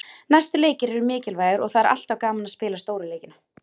Næstu leikir eru mikilvægir og það er alltaf gaman að spila stóru leikina.